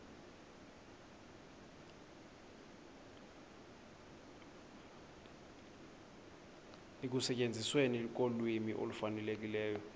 ekusetyenzisweni kolwimi olufanelekileyo